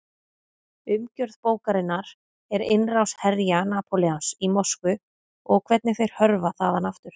Umgjörð bókarinnar er innrás herja Napóleons í Moskvu og hvernig þeir hörfa þaðan aftur.